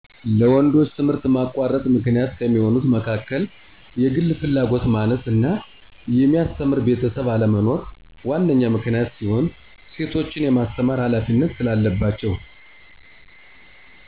ለወንዶች ትምህርት ማቋረጥ ምክንያት ከሚሆኑት መካከል የግል ፍላጎት ማነስ እና የሚያስተምር ቤተሰብ አለመኖር ዋነኛ ምክንያት ሲሆን እሴቶችንም የማስተማር ሀላፊነት ስላለባቸው